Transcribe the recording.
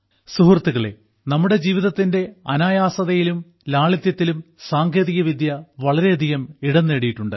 സുഹൃത്തുക്കളേ നമ്മുടെ ജീവിതത്തിന്റെ അനായാസതയിലും ലാളിത്യത്തിലും സാങ്കേതികവിദ്യ വളരെയധികം ഇടം നേടിയിട്ടുണ്ട്